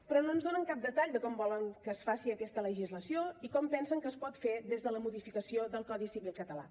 però no ens donen cap detall de com volen que es faci aquesta legislació i com pensen que es pot fer des de la modificació del codi civil català